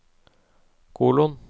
kolon